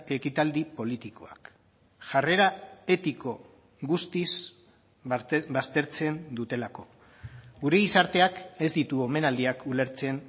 ekitaldi politikoak jarrera etiko guztiz baztertzen dutelako gure gizarteak ez ditu omenaldiak ulertzen